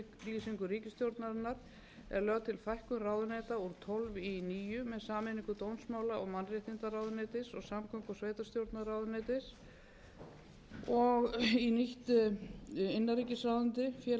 í samræmi við samstarfsyfirlýsingu ríkisstjórnarinnar er lögð til fækkun ráðuneyta úr tólf í níu með sameiningu dómsmála og mannréttindaráðuneytis og samgöngu og sveitarstjórnarráðuneytis og í nýtt innanríkisráðuneyti félags og